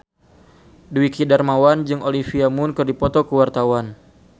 Dwiki Darmawan jeung Olivia Munn keur dipoto ku wartawan